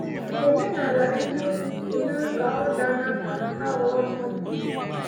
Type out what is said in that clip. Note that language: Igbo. Omenala eziokwu emewo ka ọ daa n’aka aghụghọ mmadụ.